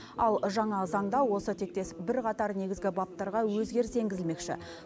ал жаңа заңда осы тектес бірқатар негізі баптарға өзгеріс енгізілмекші